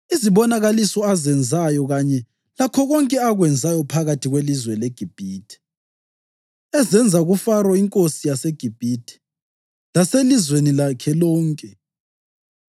izibonakaliso azenzayo kanye lakho konke akwenzayo phakathi kwelizwe leGibhithe, ezenza kuFaro iNkosi yeGibhithe laselizweni lakhe lonke;